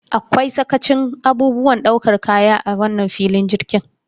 Akwai karancin abubuwan ɗaukar kaya a wannan filin jirgin.